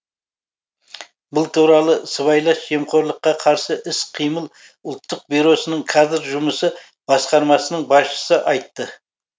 бұл туралы сыбайлас жемқорлыққа қарсы іс қимыл ұлттық бюросының кадр жұмысы басқармасының басшысы айтты